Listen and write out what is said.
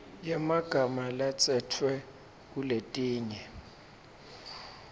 yemagama latsetfwe kuletinye